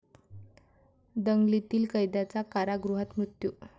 दंगलीतील कैद्याचा कारागृहात मृत्यू